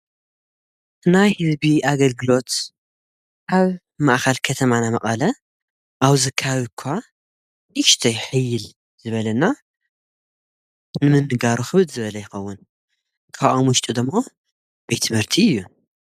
ናይ ህዝቢ ኣገልግሎት ኣብ ማእኸል ከተማና መቐለ ኣብዚ ከባቢ እኳ ኢሽተይ ሕይል ዝበለና ንምንጋሩ ኽብድ ዝበለ ይኸውን ካብኣ ውሽጡዶሞ ቤትትምህርቲ እዩ።